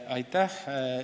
Aitäh!